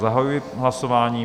Zahajuji hlasování.